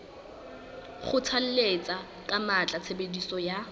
kgothalletsa ka matla tshebediso ya